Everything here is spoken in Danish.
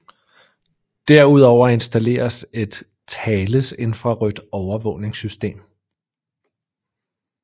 Derudover installeres et Thales infrarødt overvågningssystem